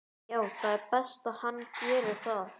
Já það er best að hann geri það.